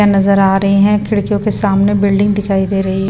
नजर आ रही है खिड़कियों के सामने बिल्डिंग दिखाई दे रही है।